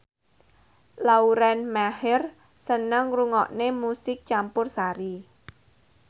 Lauren Maher seneng ngrungokne musik campursari